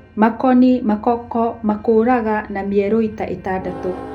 Makoni makoko makũrahga na mierui ta ĩtandatũ.